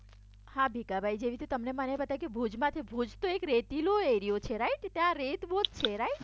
હા ભીખાભાઇ જેવી રીતે તમને મને બતાયુ કે ભુજ માં તો રેતીલો એરિયો છે રાઇટ ત્યાં રેત બહુ જ છે રાઇટ